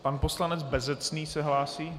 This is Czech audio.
Pan poslanec Bezecný se hlásí?